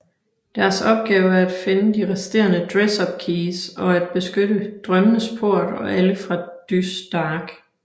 Deres opgave er at finde de resterende Dress Up Keys og at beskytte drømmenes port og alle fra Dys Dark